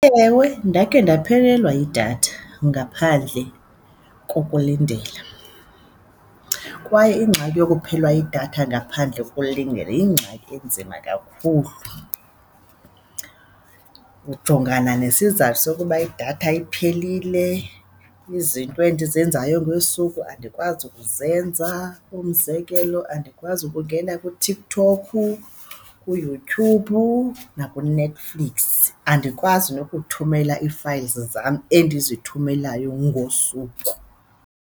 Ewe, ndakhe ndaphelelwa yidatha ngaphandle kokulindela kwaye ingxaki yokuphelelwa yidatha ngaphandle kokulindela yingxaki enzima kakhulu, ujongana nesizathu sokuba idatha iphelile, izinto endizenzayo ngosuku andikwazi ukuzenza. Umzekelo, andikwazi ukungena kuTikTok, kuYouTube nakuNetflix, andikwazi nokuthumela ii-files zam endizithumelayo ngosuku.